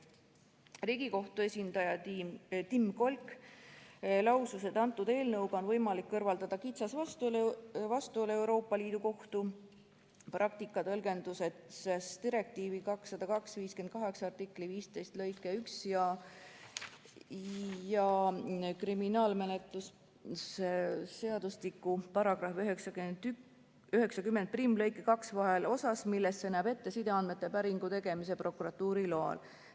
Riigikohtu esindaja Tim Kolk lausus, et eelnõuga on võimalik kõrvaldada kitsas vastuolu Euroopa Liidu Kohtu praktika tõlgenduses direktiivi 2002/58 artikli 15 lõike 1 ja kriminaalmenetluse seadustiku § 901 lõike 2 vahel osas, milles see näeb ette sideandmete päringu tegemise prokuratuuri loal.